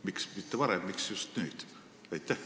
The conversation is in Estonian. Miks mitte varem, miks just nüüd?